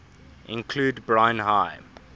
include brine high